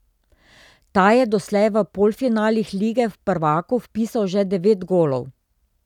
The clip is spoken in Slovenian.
Ta je doslej v polfinalih lige prvakov vpisal že devet golov.